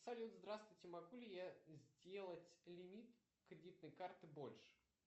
салют здравствуйте могу ли я сделать лимит кредитной карты больше